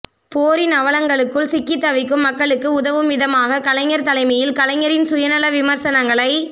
போரின் அவலங்களுக்குள் சிக்கித் தவிக்கும் மக்களுக்கு உதவும் விதமாக கலைஞர் தலைமையில் கலைஞரின் சுயநல விமர்சனங்களை